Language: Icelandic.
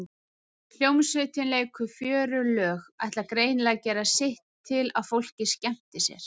Hljómsveitin leikur fjörug lög, ætlar greinilega að gera sitt til að fólk skemmti sér.